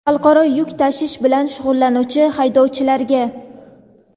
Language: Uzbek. xalqaro yuk tashish bilan shug‘ullanuvchi haydovchilarga;.